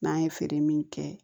N'an ye feere min kɛ